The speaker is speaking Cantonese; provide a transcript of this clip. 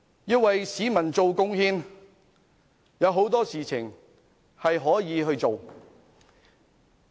要為市民作出貢獻，可以做的事情有很多。